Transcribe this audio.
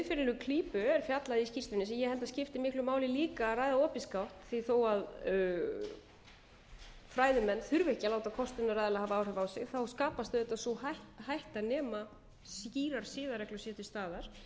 siðferðilegu klípu er fjallað í skýrslunni sem ég held að skipti miklu máli líka að ræða opinskátt því þó að fræðimenn þurfi ekki að láta kostunaraðila hafa áhrif á sig skapast auðvitað sú hætta nema skýrar siðareglur séu til staðar